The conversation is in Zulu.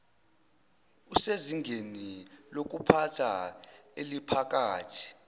usezingeni lokuphatha eliphakathi